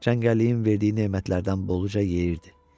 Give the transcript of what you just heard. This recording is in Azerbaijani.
Cəngəlliyin verdiyi nemətlərdən boluca yeyirdi.